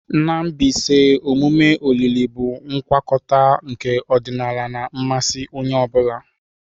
Na Mbaise, emume olili bụ ngwakọta nke ọdịnala na mmasị onye ọ bụla.